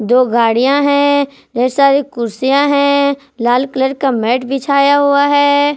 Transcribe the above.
दो गाड़ियां हैं ढेर सारी कुर्सियां हैं लाल कलर का मैट बिछाया हुआ है।